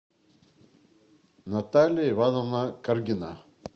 наталья ивановна каргина